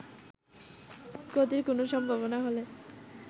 ক্ষতির কোন সম্ভাবনা হলে